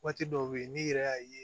Waati dɔw be yen n'i yɛrɛ y'a ye